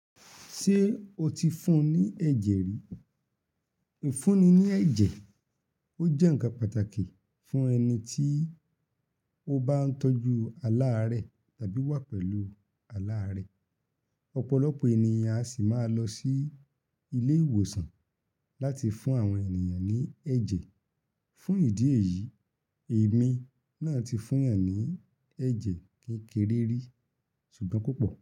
Ṣé o ti fún ní ẹ̀jẹ̀ rí? Ìfúnni ní ẹ̀jẹ̀, ó jẹ́ ǹkan pàtàkì fún ẹni ti ó bá ń tọ́jú aláàárẹ̀ tàbí wà pẹ̀lú aláàárẹ̀. Ọ̀pọ̀lọpọ̀ ènìyàn a sì máa lọ sí ilé ìwòsàn láti fún àwọn ènìyàn ní ẹ̀jẹ̀. Fún ìdí èyí, èmi náà ti fún yan ní ẹjẹ kékeré rí ṣùgbọ́n kò pò.